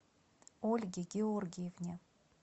ольге георгиевне